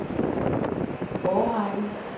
årrække